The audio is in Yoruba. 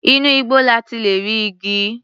Inú igbó la ti lè rí igi.